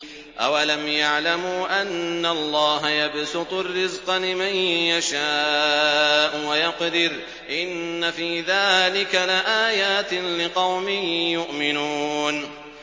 أَوَلَمْ يَعْلَمُوا أَنَّ اللَّهَ يَبْسُطُ الرِّزْقَ لِمَن يَشَاءُ وَيَقْدِرُ ۚ إِنَّ فِي ذَٰلِكَ لَآيَاتٍ لِّقَوْمٍ يُؤْمِنُونَ